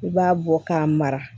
I b'a bɔ k'a mara